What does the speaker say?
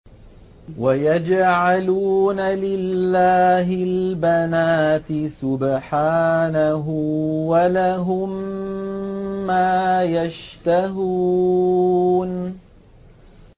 وَيَجْعَلُونَ لِلَّهِ الْبَنَاتِ سُبْحَانَهُ ۙ وَلَهُم مَّا يَشْتَهُونَ